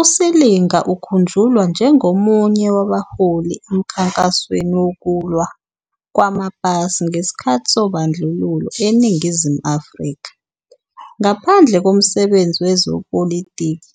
USilinga ukhunjulwa njengomunye wabaholi emkhankasweni wokulwa kwamapasi ngesikhathi sobandlululo eNingizimu Afrika. Ngaphandle komsebenzi wezepolitiki,